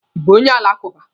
Ị bụ onye alakụba?